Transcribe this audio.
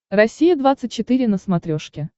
россия двадцать четыре на смотрешке